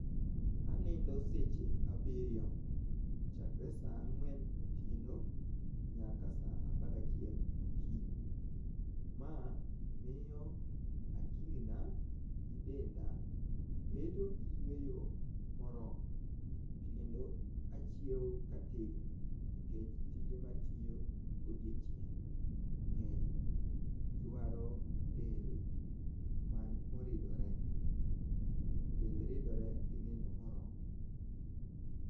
Anindo sech abirio chakre saa ang'wen otieno nyaka saa apagachiel okinyi maa miyo akilina gi denda bedo gi yueyo moromo kendo achiewo ka ategno nikech jite ma atiyo godiochieng' nge'ny dwaro del moridore , del ridore gi nindo moromo